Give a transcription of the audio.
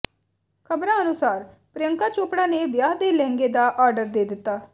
ਖਬਰਾਂ ਅਨੁਸਾਰ ਪ੍ਰਿਯੰਕਾ ਚੋਪੜਾ ਨੇ ਵਿਆਹ ਦੇ ਲਹਿੰਗੇ ਦਾ ਆਰਡਰ ਦੇ ਦਿੱਤਾ